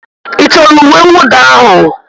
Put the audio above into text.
Ị chọrọ uwe mwụda ahụ?